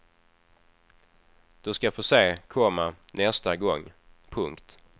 Du ska få se, komma nästa gång. punkt